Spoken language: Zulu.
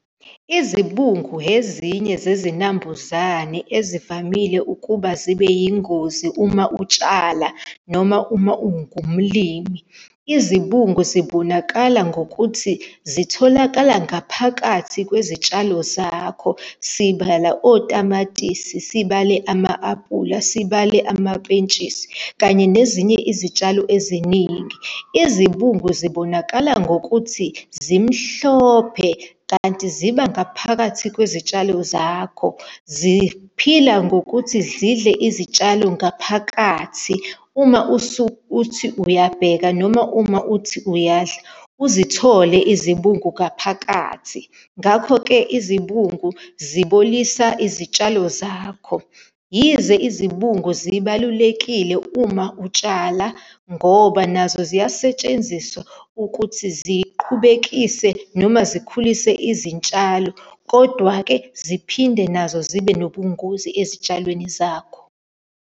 Izibungu ezinye zezinambuzane ezivamile ukuba zibe yingozi uma utshala noma uma ungumlimi. Izibungu zibonakala ngokuthi zitholakala ngaphakathi kwezitshalo zakho. Sibala otamatisi, sibale ama-apula, sibale amapentshisi, kanye nezinye izitshalo eziningi. Izibungu zibonakala ngokuthi zimhlophe, kanti ziba ngaphakathi kwezitshalo zakho. Ziphila ngokuthi zidle izitshalo ngaphakathi. Uma uthi uyabheka, noma uma uthi uyadla, uzithole izibungu ngaphakathi, ngakho-ke izibungu zibolisa izitshalo zakho. Yize izibungu zibalulekile uma utshala ngoba nazo ziyasetshenziswa ukuthi ziqhubekise noma zikhulise izitshalo, kodwa-ke ziphinde nazo zibe nobungozi ezitshalweni zakho.